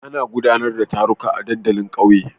Ana gudanar da taruka a dandalin kauye.